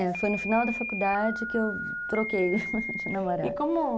É, foi no final da faculdade que eu troquei de namorado. E como...